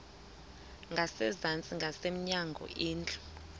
ngasezantsi ngasemnyango indlu